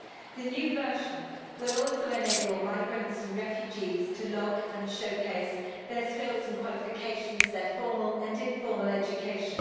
The new version will also enable migrants and refugees to log and showcase their skills and qualifications, and their formal and informal education.